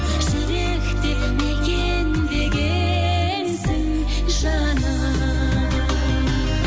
жүректе мекендегенсің жаным